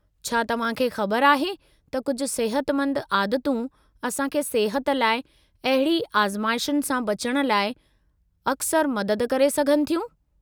छा तव्हां खे ख़बर आहे त कुझ सिहतमंद आदतूं असां खे सिहत लाइ अहिड़ी आज़माइशुनि सां बचण लाइ अक्सरि मदद करे सघनि थियूं?